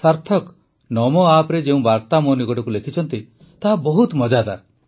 ସାର୍ଥକ ନମୋ ଆପରେ ଯେଉଁ ବାର୍ତ୍ତା ମୋ ନିକଟକୁ ଲେଖିଛନ୍ତି ତାହା ବହୁତ ମଜାଦାର